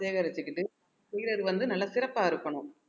சேகரிச்சுக்கிட்டு செய்யறது வந்து நல்லா சிறப்பா இருக்கணும்